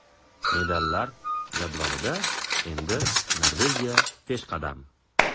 Medallar jadvalida endi Norvegiya peshqadam.